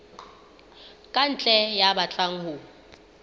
ka ntle ya batlang ho